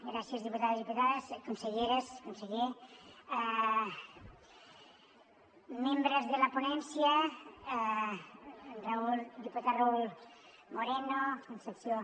gràcies diputats diputades conselleres conseller membres de la ponència diputat raúl moreno concepció